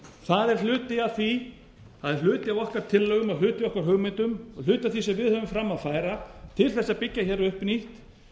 það er hluti af okkar tillögum og hluti af okkar hugmyndum og hluti af því sem við höfum fram að færa til sá að byggja hér upp nýtt